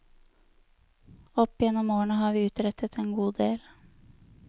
Opp gjennom årene har vi utrettet en god del.